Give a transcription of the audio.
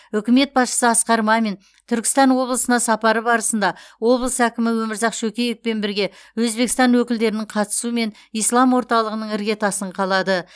үкімет басшысы асқар мамин түркістан облысына сапары барысында облыс әкімі өмірзақ шөкеевпен бірге өзбекстан өкілдерінің қатысуымен ислам орталығының іргетасын қалады